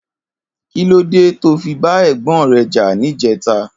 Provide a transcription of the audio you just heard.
Kilódé tó fi bà ègbòn rè jà nijètá?